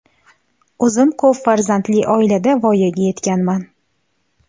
O‘zim ko‘p farzandli oilada voyaga yetganman.